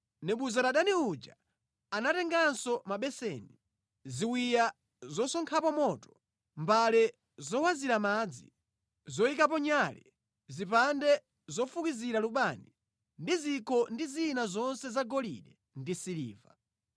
Nebuzaradani uja anatenganso mabeseni, ziwiya zosonkhapo moto, mbale zowazira madzi, zoyikapo nyale, zipande zofukizira lubani ndi zikho ndi zina zonse zagolide ndi siliva.